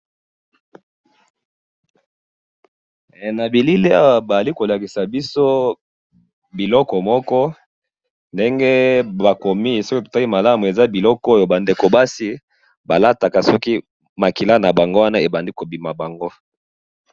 Ezali biloko basi balataka soki makila eza ko bima bango.